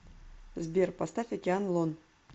сбер поставь океан лон